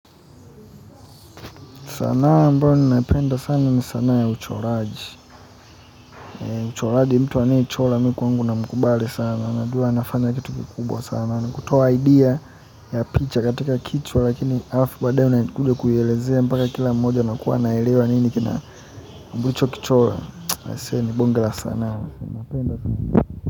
Sanaa ambayo ni naipenda sana ni sanaa ya uchoraji uchoraji mtu anae chola mikwangu na mkubali sana najua anafanya kitu kikubwa sana kutoa idea ya picha katika kichwa lakini alafu badaye una kuja kuielezea mpaka kila mmoja ana kuwa anaelewa nini kina mbulicho kichola I say ni bonge la sanaa.